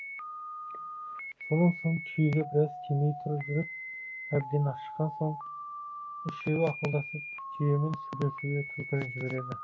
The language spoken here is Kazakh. сонан соң түйеге біраз тимей тұрып жүріп әбден ашыққан соң үшеуі ақылдасып түйемен сөйлесуге түлкіні жібереді